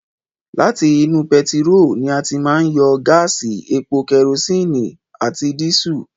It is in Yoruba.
Láti inú pẹtiró ni a ti máa yọ gáásì, epo, kẹrosínì àti dísù.